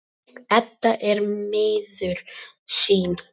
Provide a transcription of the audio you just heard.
Edda er miður sín.